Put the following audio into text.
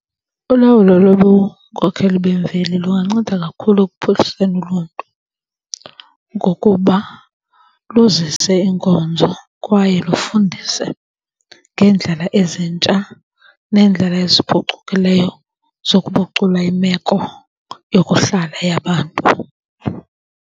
Ulawulo lobunkokheli bemveli lunganceda kakhulu ekuphuhliseni uluntu ngokuba luzise iinkonzo kwaye lufundise ngeendlela ezintsha neendlela eziphucukileyo zokuphucula imeko yokuhlala yabantu.